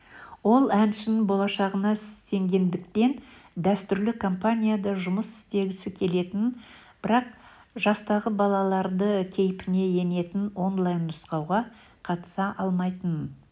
ол әншінің болашағына сенгендіктен дәстүрлі компанияда жұмыс істегісі келетінін бірақ жастағы балалардың кейпіне енетін онлайн-нұсқаға қатыса алмайтынын